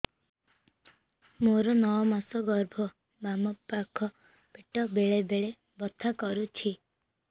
ମୋର ନଅ ମାସ ଗର୍ଭ ବାମ ପାଖ ପେଟ ବେଳେ ବେଳେ ବଥା କରୁଛି